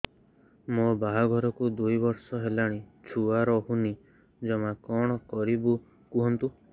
ମୋ ବାହାଘରକୁ ଦୁଇ ବର୍ଷ ହେଲାଣି ଛୁଆ ରହୁନି ଜମା କଣ କରିବୁ କୁହନ୍ତୁ